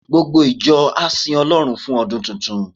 Gbogbo ìjọ á sin Ọlọ́run fún ọdún tuntun.